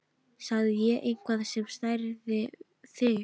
Sagði ég eitthvað sem særði þig?